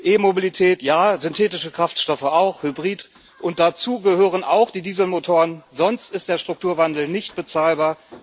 E Mobilität ja, synthetische Kraftstoffe, auch Hybrid, und dazu gehören auch die Dieselmotoren, sonst ist der Strukturwandel nicht bezahlbar.